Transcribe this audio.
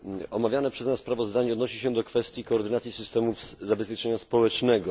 Omawiane przez nas sprawozdanie odnosi się do kwestii koordynacji systemów zabezpieczenia społecznego.